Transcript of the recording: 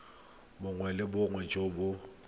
bongwe le bongwe jo bo